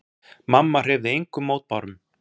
Mamma hreyfði engum mótbárum.